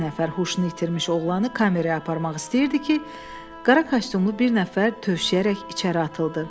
İki nəfər huşunu itirmiş oğlanı kameraya aparmaq istəyirdi ki, qara kostyumlu bir nəfər tövşüyərək içəri atıldı.